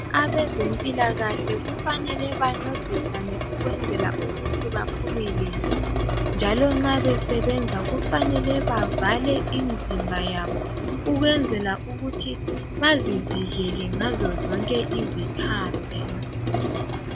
Abezempilakahle kufanele bancedisane ukwenzela ukuthi baphumelele, njalo nxa besebenza kufanele bavale imizimba yabo ukwenzela ukuthi bazivikele ngazo zonke izikhathi.